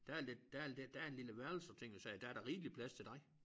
Der er lidt der er lidt der er en lille værelse og ting og sager der er da rigeligt plads til dig